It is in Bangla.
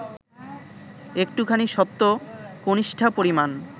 একটুখানি সত্য কনিষ্ঠা পরিমাণ